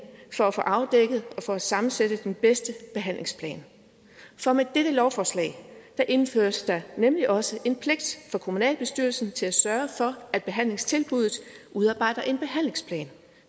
for at få afdækket og for at sammensætte den bedste behandlingsplan for med dette lovforslag indføres der nemlig også en pligt for kommunalbestyrelsen til at sørge for at behandlingstilbuddet udarbejder en behandlingsplan